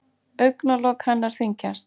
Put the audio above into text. Augnalok hennar þyngjast.